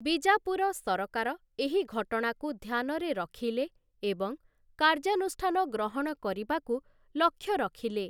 ବିଜାପୁର ସରକାର ଏହି ଘଟଣାକୁ ଧ୍ୟାନରେ ରଖିଲେ ଏବଂ କାର୍ଯ୍ୟାନୁଷ୍ଠାନ ଗ୍ରହଣ କରିବାକୁ ଲକ୍ଷ୍ୟ ରଖିଲେ ।